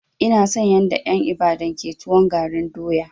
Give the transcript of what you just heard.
Ina son yanda en Ibadan ke tuwon garin doya.